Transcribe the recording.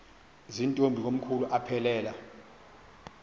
zirntombi komkhulu aphelela